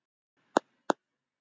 Karl Ben.